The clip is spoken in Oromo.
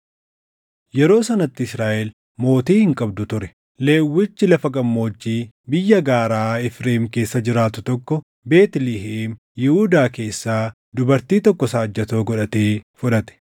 Yeroo sanatti Israaʼel mootii hin qabdu ture. Lewwichi lafa gammoojjii biyya gaaraa Efreem keessa jiraatu tokko Beetlihem Yihuudaa keessaa dubartii tokko saajjatoo godhatee fudhate.